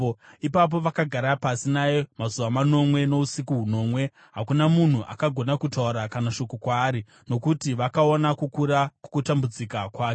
Ipapo vakagara pasi naye kwamazuva manomwe nousiku hunomwe. Hakuna munhu akagona kutaura kana shoko kwaari, nokuti vakaona kukura kwokutambudzika kwake.